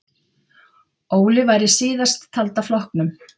Óli var í síðasttalda flokknum.